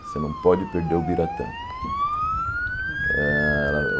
Você não pode perder o biratã.